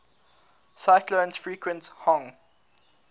cyclones frequent hong